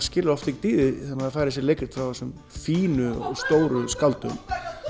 skilur oft ekkert í því þegar maður fær þessi leikrit frá þessum fínu og stóru skáldum